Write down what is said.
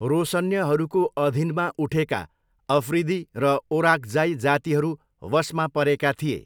रोसन्यहरूको अधीनमा उठेका अफ्रिदी र ओराक्जाई जातिहरू वशमा परेका थिए।